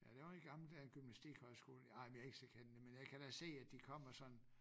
Ja den var i gamle dage gymnastikhøjskole ej men jeg ikke så kendt det men jeg kan da se at de kommer sådan